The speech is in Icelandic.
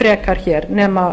frekar nema